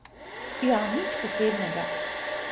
Ja nič posebnega.